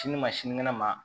Sini ma sinikɛnɛ ma